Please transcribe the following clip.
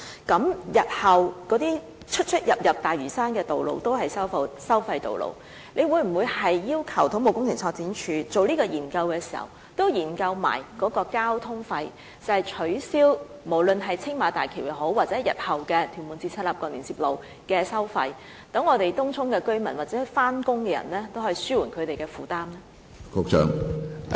這意味日後所有連接大嶼山的道路全都是收費道路，政府會否要求土木工程拓展署在進行研究時，同時研究在交通費方面，可否取消青馬大橋收費，以及取消日後屯門至赤鱲角連接路的收費，以紓緩東涌居民或上班人士的交通費負擔呢？